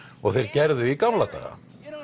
og þeir gerðu í gamla daga